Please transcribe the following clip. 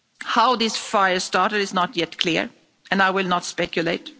How these fires started is not yet clear, and I will not speculate.